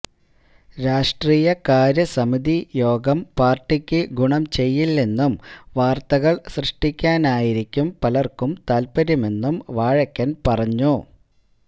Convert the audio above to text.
രാഷ്ട്രീയകാര്യ സമിതി യോഗം പാര്ട്ടിക്ക് ഗുണം ചെയ്യില്ലെന്നും വാര്ത്തകള് സൃഷ്ടിക്കാനായിരിക്കും പലര്ക്കും താത്പര്യമെന്നും വാഴക്കന് പറഞ്ഞു